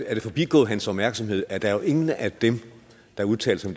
det forbigået hans opmærksomhed at der jo er ingen af dem der udtaler sig